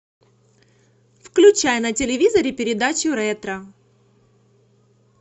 включай на телевизоре передачу ретро